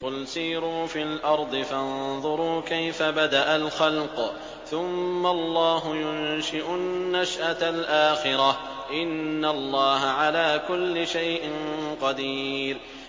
قُلْ سِيرُوا فِي الْأَرْضِ فَانظُرُوا كَيْفَ بَدَأَ الْخَلْقَ ۚ ثُمَّ اللَّهُ يُنشِئُ النَّشْأَةَ الْآخِرَةَ ۚ إِنَّ اللَّهَ عَلَىٰ كُلِّ شَيْءٍ قَدِيرٌ